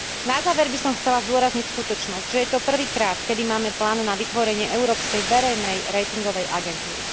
Na záver by som chcela zdôrazniť skutočnosť, že je to prvýkrát, keď máme plán na vytvorenie európskej verejnej ratingovej agentúry.